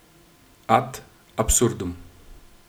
Ad absurdum.